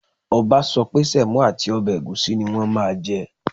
Ọba sọ pé semo àti ọbẹ̀ ẹ̀gúsí ní wọn máa jẹ